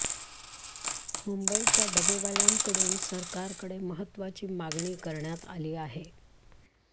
मुंबईच्या डबेवाल्यांकडून सरकारकडे महत्त्वाची मागणी करण्यात आली आहे